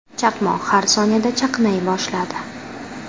Chaqmoq har soniyada chaqnay boshladi.